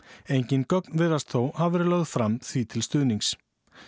engin gögn virðast þó hafa verið lögð fram því til stuðnings